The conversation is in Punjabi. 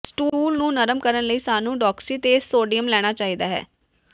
ਸਟੂਲ ਨੂੰ ਨਰਮ ਕਰਨ ਲਈ ਸਾਨੂੰ ਡੌਕਸੀਤੇਸ ਸੋਡੀਅਮ ਲੈਣਾ ਚਾਹੀਦਾ ਹੈ